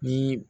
Ni